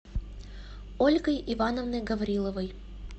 ольгой ивановной гавриловой